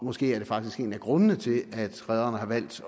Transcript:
måske er det faktisk en af grundene til at rederne har valgt